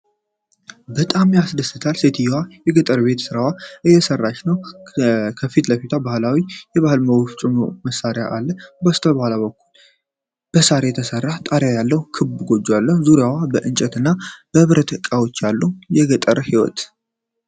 በጣም ያስደስታል! ሴትየዋ የገጠር የቤት ሥራዋን እየሰራች ነው። ከፊት ለፊቷ ባህላዊ የእህል መፍጫ መሳሪያ አለ። ከበስተኋላ በሳር የተሰራ ጣሪያ ያለው ክብ ጎጆ አለ። በዙሪያው የእንጨትና የብረት እቃዎች አሉ። የገጠር ሕይወት!